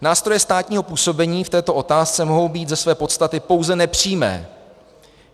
Nástroje státního působení v této otázce mohou být ze své podstaty pouze nepřímé.